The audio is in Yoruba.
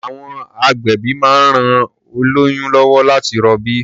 À̀wọn agbẹ̀bí máa ń ran oĺyún lọ́wọ́ láti rọbí.